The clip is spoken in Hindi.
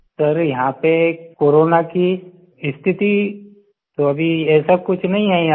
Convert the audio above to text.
सर यहाँ पे कोरोना की स्थिति तो अभी ऐसा कुछ नहीं है यहाँ आई